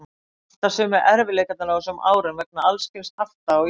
Alltaf sömu erfiðleikarnir á þessum árum vegna alls kyns hafta á Íslandi.